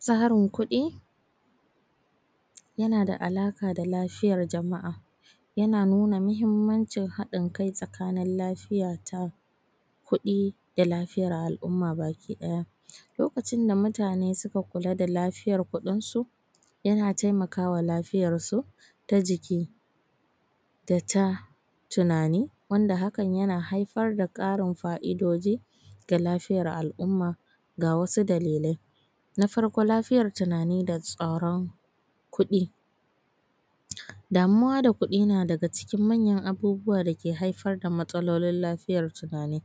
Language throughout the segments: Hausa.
Tsarin kuɗi yana da alaƙa da lafiyar jama’a, yana nuna muhimmancin haɗin kai tsakanin lafiya ta kuɗi da lafiyar al’umma baki ɗaya. Lokacin da mutane suka kula da lafiyar kuɗinsu, yana taimaka wa lafiyarsu ta jiki da ta tunani, wanda hakan yana haifar da ƙarin fa’idoji ga lafiyar al’umma. Ga wasu dalilai: na farko, lafiyar tunani da tsaron kuɗi: Damuwa da kuɗi na daga cikin manyan abubuwa da ke haifar da matsalolin lafiyar tunani.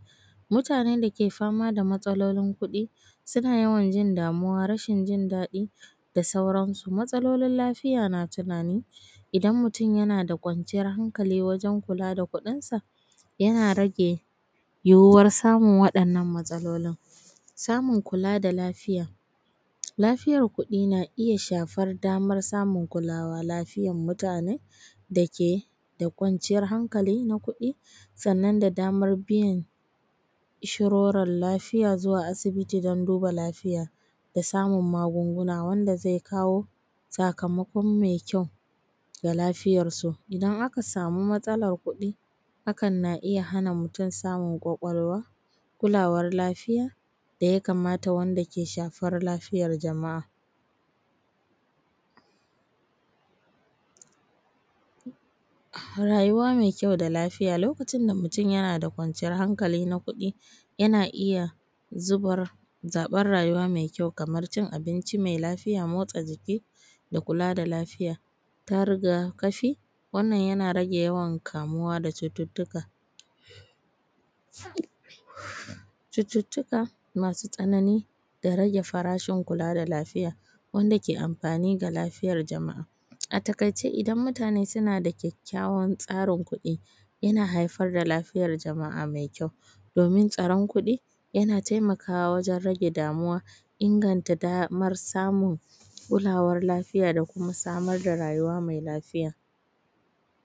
Mutanen da ke fama da matsalolin kuɗi, suna yawan jin damuwa, rashin jin daɗi da sauransu. Matsalolin lafiya na tunani, idan mutum yana da kwanciyar hankali wajen kula da kuɗinsa, yana rage yiwuwar samun waɗannan matsalolin. Samun kula da lafiya: lafiyar kuɗi na iya shafar damar samun kulawar lafiyar mutune da ke da kwanciyar hankali na kuɗi, sannan da damar biyan inshorar lafiya zuwa asibiti don duba lafiya da samun magunguna, wanda zai kawo sakamakon mai kyau ga lafiyarsu. Idan aka samu matsalar kuɗi, hakan na iya hana mutum samun ƙwaƙwalwa, kulawar lafiya da ya kamata wanda yake shafar lafiyar jama’a. rayuwa mai kyau da lafiya. Lokacin da mutum yana da kwanciyar hankali na kuɗi, yana iya zubar, zaɓar rayuwa mai kyau kamar cin abinci mai lafiya, motsa jiki da kula da lafiya. Ta riga-kafi: wannan yana rage yawan kamuwa da cututtuka, cututtuka cututtuka masu tsanani da rage farashin kula da lafiya wanda ke amfani ga lafiyar jama’a. A taƙaice, idan mutane suna da kyakkyawan tsarin kuɗi, yana haifar da lafiyar jama’a mai kyau, domin tsaron kuɗi, yana taimakawa wajen rage damuwa, inganta mara samun kulawar lafiya da kuma samar da rayuwa mai lafiya.